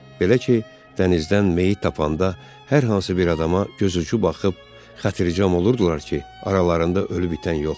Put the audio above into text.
Belə ki, dənizdən meyit tapanda hər hansı bir adama gözucu baxıb xatircəm olurdular ki, aralarında ölü bitən yoxdur.